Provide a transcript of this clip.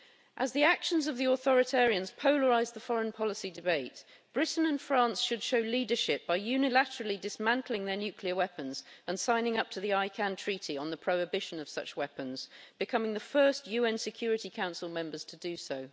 As the actions of the authoritarians polarise the foreign policy debate, Britain and France should show leadership by unilaterally dismantling their nuclear weapons and signing up to the International Campaign to Abolish Nuclear Weapons Treaty on the prohibition of such weapons, becoming the first UN Security Council members to do so.